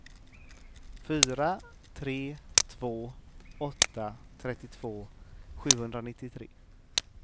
fyra tre två åtta trettiotvå sjuhundranittiotre